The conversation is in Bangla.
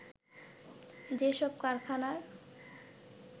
যে সব কারখানার